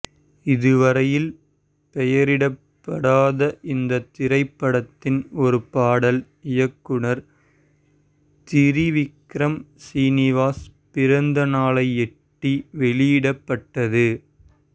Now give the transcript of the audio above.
இதுவரையில் பெயரிடப்படாத இந்த திரைப்படத்தின் ஒரு பாடல் இயக்குனர் திரிவிக்ரம் சீனிவாஸ் பிறந்தநாளையொட்டி வெளியிடப்பட்டது